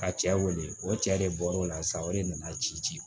Ka cɛ wele o cɛ de bɔra o la sisan o de nana ci ci